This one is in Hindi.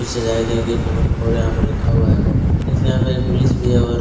सजाया गया गेट नंबर फॉर यहाँ पर लिखा हुआ है फिर से यहाँ पे एक पुलिस भी है और --